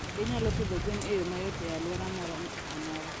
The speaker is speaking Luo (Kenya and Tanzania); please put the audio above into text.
Ginyalo pidho gwen e yo mayot e alwora moro amora.